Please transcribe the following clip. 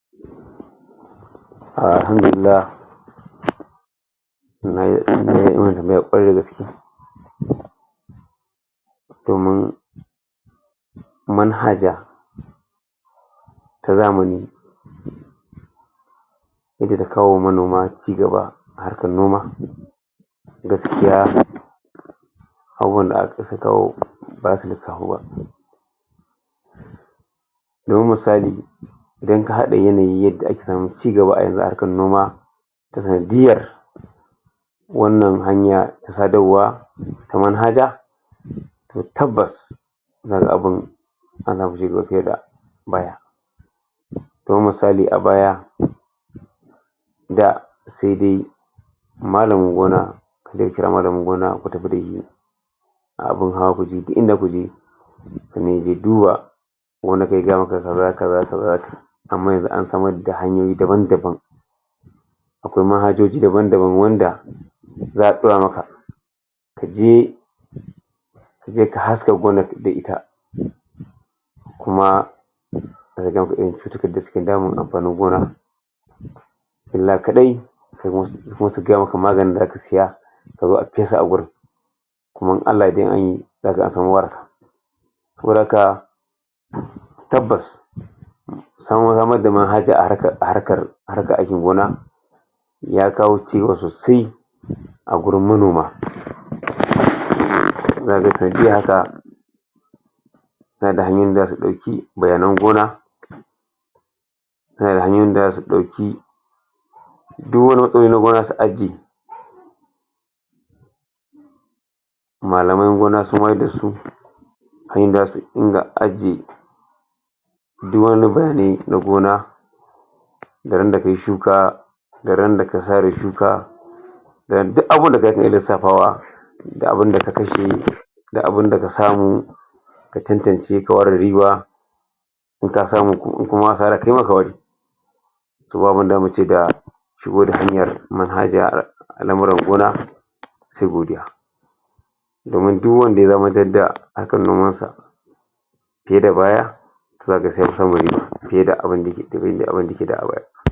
Alhamdulilah kwarai da gaske domin manhaja ta zamani wa manoma cigaba a harkan noma gaskiya abubuwan da hakan suka kawo basu da samuwa. Domin misali idan ka hada yanayin yadda a ke samun cigaba a yanzu a harkar noma, sanadiyar wannan hanya ta sadarwa kamar haja to tabbas wannan abun fiye da baya. Don misali, a baya da sai dai malamin gona ya kira malamin gona ku tafi da shi a abun hawa kuje. Duk inda za ku je domin ya je ya duba kaza kaza amma yanzu an samar da hanyoyi daban-daban. Akwai daban-daban wanda za gaya maka ka je je ka haska wurin da ita. Kuma amfanin gona illa kadai ko kuma su gaya maka maganin da za ka saya a zo a fesa a wurin. Kuma in allah ya yadda, in an yi, za zo an samu wurin Saboda haka tabbas haka ake gona, ya kawo cigaba sosai a wurin manoma Ka ga sabila da haka, ka ga hanyoyin za su tafi; bayanen gona da hanyoyin da zasu dauki su ajiye malaman gona sun wayar da su a yadda za su rika ajiye na gona da ran da ka yi shuka da ran da ka sare shuka da duk abun da za ka iya lisaffawa da abun ka kashe da abun da ka samu ka cantance, ka ware riba in ka samu. In kuma asara ka yi ma, ka ware To, ba abun da za mu ce ga shigo da hanyar al'amurar gona sai godiya. Domin duk wanda ya da kan nomar sa, fiye da baya, ina ga sai yayi fiye da abun da yake tazari, abun da yake yi baya.